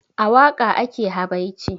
A waƙa ake habaici